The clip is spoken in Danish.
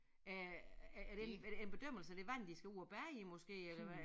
Er er det en er det en bedømmelse af det vand de skal ud og bade i måske eller hvad er